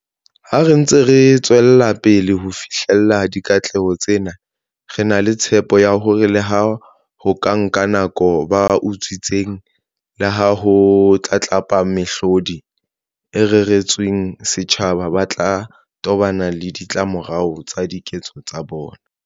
Ha re ntse re tswelapele ho fihlella dikatleho tsena, re na le tshepo ya hore leha ho ka nka nako, ba utswitseng le ho tlatlapa mehlodi e reretsweng setjhaba ba tla tobana le ditlamorao tsa diketso tsa bona.